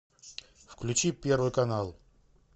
включи первый канал